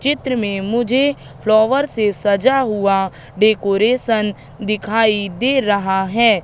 चित्र में मुझे फ्लॉवर से सजा हुआ डेकोरेशन दिखाई दे रहा है।